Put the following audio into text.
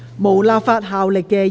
無立法效力的議員議案。